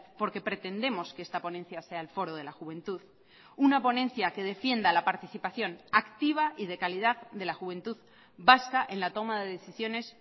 porque pretendemos que esta ponencia sea el foro de la juventud una ponencia que defienda la participación activa y de calidad de la juventud vasca en la toma de decisiones